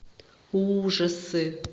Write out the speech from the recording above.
ужасы